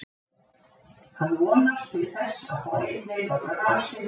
Hann vonast til þess að fá einn leik á grasi fyrir mót.